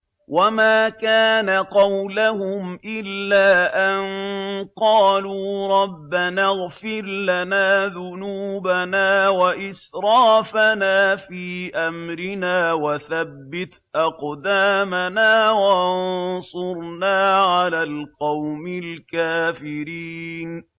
وَمَا كَانَ قَوْلَهُمْ إِلَّا أَن قَالُوا رَبَّنَا اغْفِرْ لَنَا ذُنُوبَنَا وَإِسْرَافَنَا فِي أَمْرِنَا وَثَبِّتْ أَقْدَامَنَا وَانصُرْنَا عَلَى الْقَوْمِ الْكَافِرِينَ